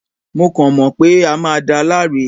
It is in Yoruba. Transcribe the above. Mo kàn mọ̀ pé a máa da láre